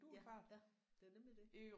Ja ja det er nemlig det